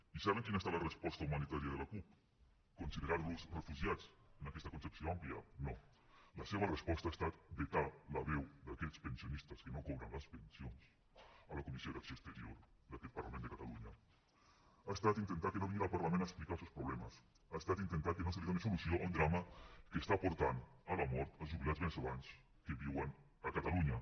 i saben quina ha estat la resposta humanitària de la cup considerar los refugiats en aquesta concepció àmplia no la seva resposta ha estat vetar la veu d’aquests pensionistes que no cobren les pensions a la comissió d’acció exterior d’aquest parlament de catalunya ha estat intentar que no vinguin al parlament a explicar els seus problemes ha estat intentar que no es doni solució a un drama que està portant a la mort jubilats veneçolans que viuen a catalunya